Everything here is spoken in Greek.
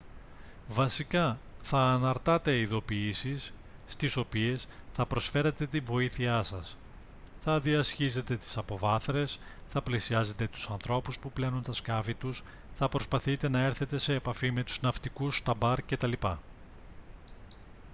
βασικά θα αναρτάτε ειδοποιήσεις στις οποίες θα προσφέρετε την βοήθειά σας θα διασχίζετε τις αποβάθρες θα πλησιάζετε τους ανθρώπους που πλένουν τα σκάφη τους θα προσπαθείτε να έρθετε σε επαφή με τους ναυτικούς στα μπαρ κτλ